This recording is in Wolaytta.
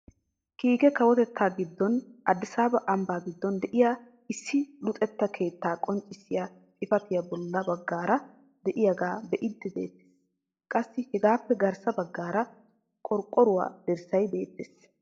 Kiike kawotettaa giddon adisaaba ambbaa giddon de'iyaa issi luxetta keettaa qonccisiyaa xifatee bolla baggaara de'iyaagaa be'iidi de'ettees. qassi hagappe garssa baggaara orqqoruwaa dirssay beettees.